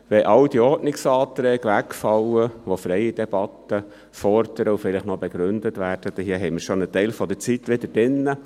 Wenn all diese Ordnungsanträge wegfallen, welche freie Debatte fordern und welche hier vielleicht noch begründet werden, hätten wir vielleicht einen Teil der Zeit wieder aufgeholt.